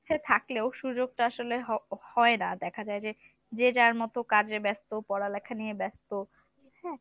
হ্যা থাকলেও সুযোগ টা আসলে হয় হয় না দেখা যায় যে যে যার মতো কাজে ব্যস্ত পড়ালেখা নিয়ে ব্যস্ত